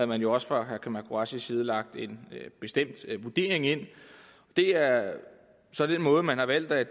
man jo også fra herre kamal qureshis side lagt en bestemt vurdering ind det er så den måde man har valgt at